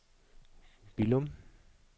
Billum